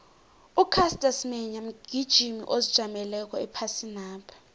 ucaster semenya mgijimi ozijameleko ephasinapha